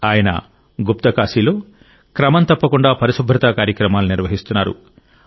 ఆయన గుప్తకాశీలో క్రమం తప్పకుండా పరిశుభ్రత కార్యక్రమాలను నిర్వహిస్తున్నారు